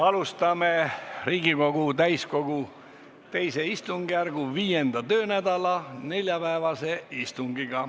Alustame Riigikogu täiskogu II istungjärgu 5. töönädala neljapäevast istungit.